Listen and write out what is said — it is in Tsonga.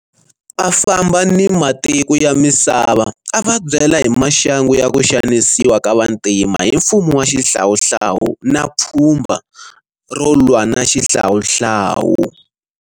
A famba na matiko ya misava a va byela hi maxangu ya ku xanisiwa ka vantima hi mfumo wa xihlawuhlawu na pfhumba ro lwa na xihlawuhlawu.